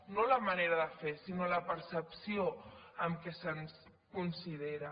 no la manera de fer sinó la percepció amb què se’ns considera